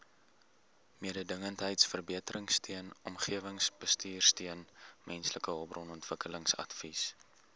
mededingendheidsverbeteringsteun omgewingsbestuursteun mensehulpbronontwikkelingsadvies